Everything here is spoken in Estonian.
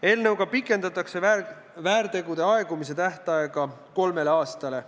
Eelnõuga pikendatakse väärtegude aegumise tähtaega kolmele aastale.